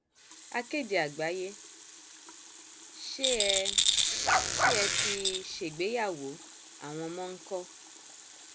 akéde àgbáyé ṣé ẹ ṣé ẹ ti ṣègbéyàwó àwọn ọmọ ńkọ